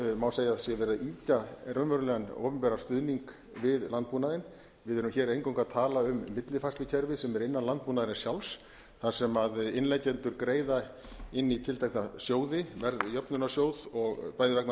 má segja að sé verið að ýkja raunverulegan opinberan stuðning við landbúnaðinn við erum hér eingöngu að tala um millifærslukerfi sem er innan landbúnaðarins sjálfs þar sem innleggjendur greiða inn í tiltekna sjóði verðjöfnunarsjóð bæði vegna